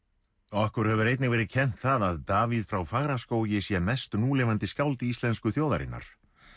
okkur hefur einnig verið kennt það að Davíð frá Fagraskógi sé mest núlifandi skáld íslensku þjóðarinnar